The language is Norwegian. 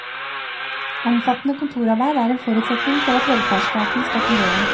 Omfattende kontorarbeid er en forutsetning for at velferdsstaten skal fungere.